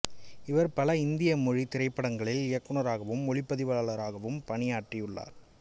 இவர் பல இந்திய மொழி திரைப்படங்களில் இயக்குநராகவும் ஒளிப்பதிவாளராகவும் பணியாற்றியுள்ளார்